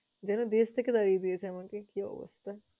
যেন দেশ থেকে তাড়িয়ে দিয়েছে আমাকে, কি অবস্থা?